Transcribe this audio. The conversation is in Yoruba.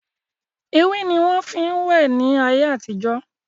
Ewé ni wọn fin wẹ ni ayé àtijọ́